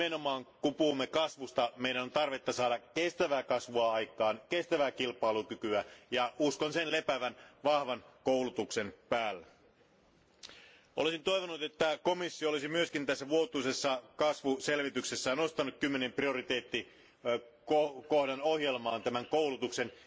Nimenomaan kun puhumme kasvusta, meidän on tarpeen saada aikaan kestävää kasvua, kestävää kilpailukykyä, ja uskon sen lepäävän vahvan koulutuksen päällä. Olisin toivonut, että komissio olisi myös tässä vuotuisessa kasvuselvityksessään nostanut kymmenen prioriteettikohdan ohjelmaan tämän koulutuksen.